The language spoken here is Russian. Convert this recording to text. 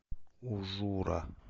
ужура